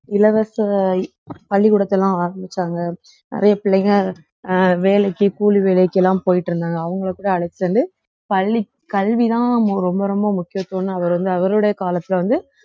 இலவச பள்ளிக்கூடத்த எல்லாம் ஆரம்பிச்சாங்க நிறைய பிள்ளைங்க அஹ் வேலைக்கு கூலி வேலைக்கு எல்லாம் போயிட்டிருந்தாங்க அவங்களை கூட அழைச்சுட்டு வந்து பள்ளி கல்விதான் ரொம்ப ரொம்ப முக்கியத்துவம்ன்னு அவர் வந்து அவருடைய காலத்துல வந்து